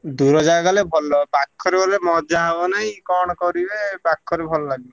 ଦୂର ଜାଗା ଗଲେ ଭଲ ପାଖରେ ଗଲେ ମଜା ହବ ନାଇଁ କଣ କରିବେ ପାଖରେ ଭଲ ଲାଗିବେ।